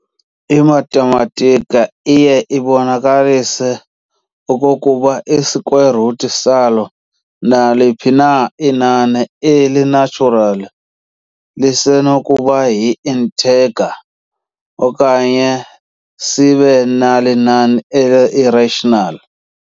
I-Mathematika iye yabonakalisa okokuba i-square root salo naliphi na inani eli-natural lisenokuba yi-integer okanye sibe nalinani eli-irrational.